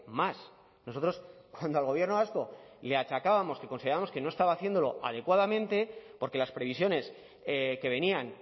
más nosotros cuando al gobierno vasco le achacábamos que considerábamos que no estaba haciéndolo adecuadamente porque las previsiones que venían